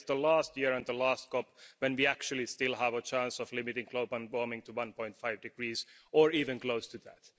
That is the last year and the last COP when we actually still have a chance of limiting global warming to 1.5 degrees, or even close to that.